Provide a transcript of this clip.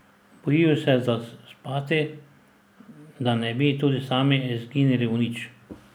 Bojijo se zaspati, da ne bi tudi sami izginili v nič.